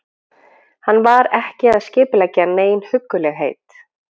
Hann var ekki að skipuleggja nein huggulegheit.